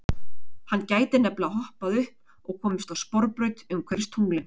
Hann gæti nefnilega hoppað upp og komist á sporbraut umhverfis tunglin.